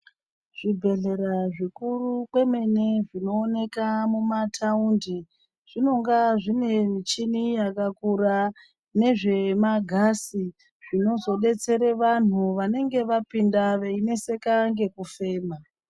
Zvibhedhlera zvikuru kwemene, zvinooneka mumathaundi, zvinonga zvine michini yakakura nezvemagasi, zvinozodetsere vanhu, vanenge vapinda veineseka ngekufema.